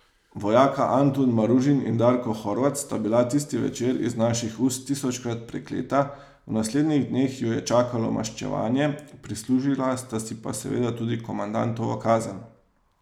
Vojaka Antun Maružin in Darko Horvat sta bila tisti večer iz naših ust tisočkrat prekleta, v naslednjih dneh ju je čakalo maščevanje, prislužila sta si pa seveda tudi komandantovo kazen.